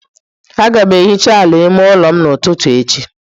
Aga m ehicha ala ime ụlọ n'ụtụtụ echi.